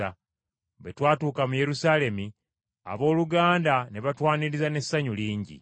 Bwe twatuuka mu Yerusaalemi abooluganda ne batwaniriza n’essanyu lingi nnyo.